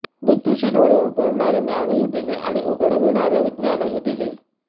बुद्धीचे डोळे उघडणारे ज्ञानही दिले आणि उघडविणारे विज्ञानही दिले